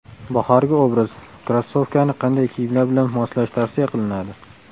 Bahorgi obraz: Krossovkani qanday kiyimlar bilan moslash tavsiya qilinadi?.